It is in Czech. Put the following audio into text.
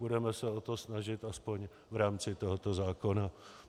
Budeme se o to snažit aspoň v rámci tohoto zákona.